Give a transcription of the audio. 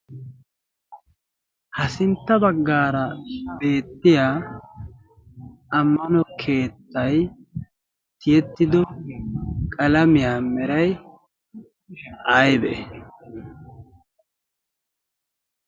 ha sintta baggaara beettiya ammano keettay tiyettido qalamiyaa meray aybee